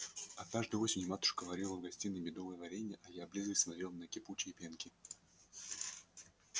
однажды осенью матушка варила в гостиной медовое варенье а я облизываясь смотрел на кипучие пенки